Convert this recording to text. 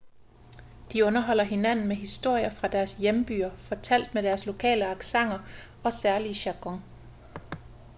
de underholder hinanden med historier fra deres hjembyer fortalt med deres lokale accenter og særlige jargon